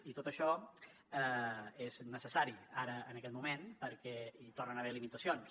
i tot això és necessari ara en aquest moment perquè hi tornen a haver limitacions